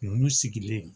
Ninnu sigilen